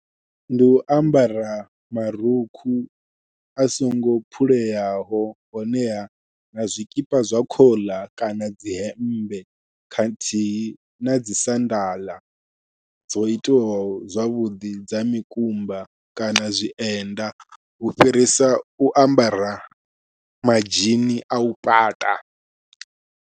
Ndi u ambara marukhu a songo phuleyaho honeha na zwikipa zwa khoḽa kana dzi hemmbe khathihi nadzi sandaḽa dzo itiwaho zwavhuḓi dza mikumba kana zwienda u fhirisa u ambara madzhini au pata.